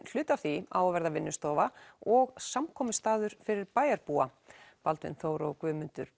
hluti af því á að verða vinnustofa og samkomustaður fyrir bæjarbúa Baldvin Þór og Guðmundur